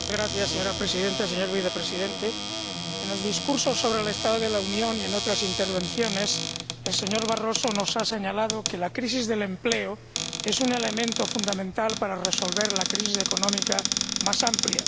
Señora Presidenta, señor Vicepresidente, en el discurso sobre el estado de la Unión y en otras intervenciones, el señor Barroso nos ha señalado que la crisis del empleo es un elemento fundamental para resolver la crisis económica más amplia